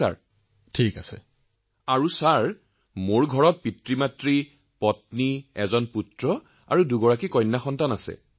আৰু মহোদয় আমাৰ লৰাছোৱালী এহাল পত্নী আৰু মাদেউতা আছে